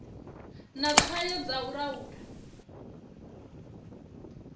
na tswayo dza u laula